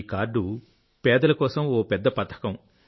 ఈ కార్డు పేదల కోసం ఒక పెద్ద పథకం